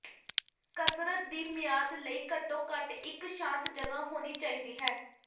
ਕਸਰਤ ਦੀ ਮਿਆਦ ਲਈ ਘੱਟੋ ਘੱਟ ਇਕ ਸ਼ਾਂਤ ਜਗ੍ਹਾ ਹੋਣੀ ਚਾਹੀਦੀ ਹੈ